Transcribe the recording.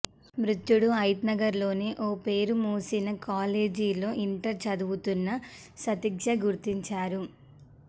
మృతుడు హయత్నగర్లోని ఓ పేరు మోసిన కాలేజీలో ఇంటర్ చదువుతున్న సతీష్గా గుర్తించారు